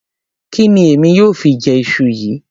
Kí ni èmi yóò fi jẹ iṣu yìí?